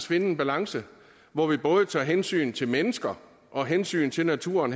finde en balance hvor vi både tager hensyn til mennesker og hensyn til naturen